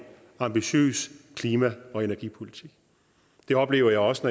ambitiøs klima og energipolitik det oplever jeg også